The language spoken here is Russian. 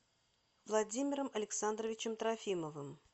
владимиром александровичем трофимовым